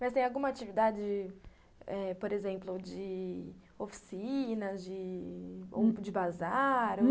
Mas tem alguma atividade, eh... por exemplo, de oficinas, de bazar